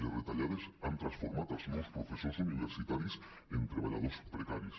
les retallades han transformat els nous professors universita·ris en treballadors precaris